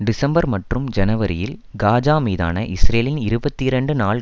December மற்றும் ஜனவரியில் Gaza மீதான இஸ்ரேலின் இருபத்தி இரண்டு நாள்